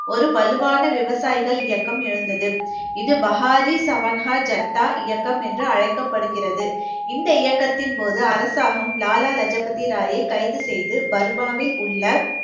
ஒரு வலுவான விவசாயிகள் இயக்கம் எழுந்தது இது பகாரி சவன்ஹா ஜட்தா இயக்கம் என்று அழைக்கப்படுகிறது இந்த இயக்கத்தின் போது அரசாங்கம் லாலா லஜு பதி ராயை கைது செய்து பர்பாவில் உள்ள